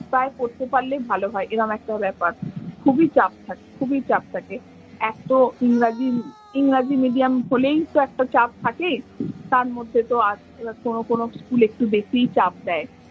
প্রায় পড়তে পারলে ভালো হয় এরম একটা ব্যাপার। খুবই চাপ থাকে খুবই চাপ এক তো ইংরাজি ইংরেজি medium হলেই তো একটা চাপ থাকে। তার মধ্যে তো আর কোনো কোনো school একটু বেশিই চাপ দেয়।